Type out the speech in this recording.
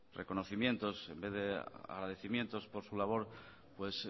reconocimientos en vez de agradecimientos por su labor pues